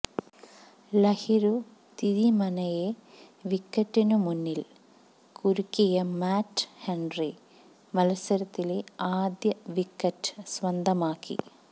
ലഹിരു തിരിമന്നെയെ വിക്കറ്റിനു മുന്നിൽ കുരുക്കിയ മാറ്റ് ഹെൻറി മത്സരത്തിലെ ആദ്യ വിക്കറ്റ് സ്വന്തമാക്കി